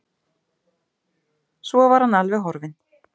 Svo var hann alveg horfinn.